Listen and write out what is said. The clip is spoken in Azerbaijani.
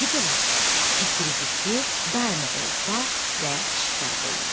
İndi belə fikri zikri daima ovda və şikarda idi.